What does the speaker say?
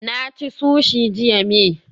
Na ci sushi jiya may